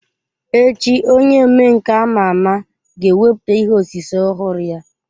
Echi onye omenka ama ama ga-ewepụta ihe osise ọhụrụ ya.